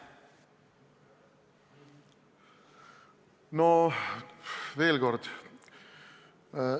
No veel kord!